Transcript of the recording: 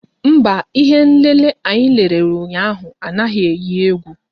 Mba, ihé nlélé anyị lere ụnyaahụ anaghị eyi égwú